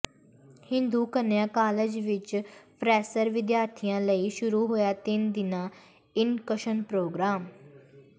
Hindu Kanya college ਵਿੱਚ fresher ਵਿਦਿਆਰਥੀਆਂ ਲਈ ਸ਼ੁਰੂ ਹੋਇਆ ਤਿੰਨ ਦਿਨਾਂ ਇੰਡਕਸ਼ਨ ਪ੍ਰੋਗਰਾਮ